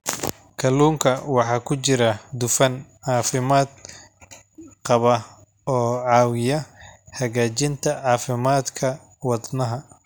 Kalluunka waxaa ku jira dufan caafimaad qaba oo caawiya hagaajinta caafimaadka wadnaha.